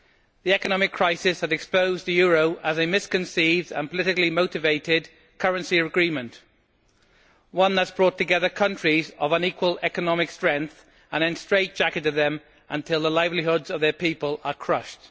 The economic crisis has exposed the euro as a misconceived and politically motivated currency agreement one that has brought together countries of unequal economic strength and then straitjacketed them until the livelihoods of their people are crushed.